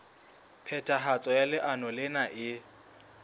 phethahatso ya leano lena e